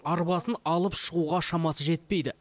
арбасын алып шығуға шамасы жетпейді